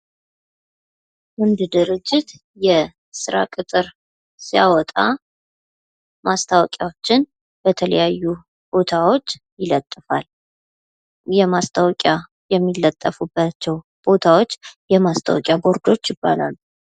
አንድ ድርጅት የስራ ቅጥር ሲያወጣ ማስታወቂያዎችን በተለያየ ቦታዎች ይለጥፋል የማስታወቂያ የሚለጠፍባቸው ቦታዎች የማስታወቂያ ቦርዶች ይባላሉ።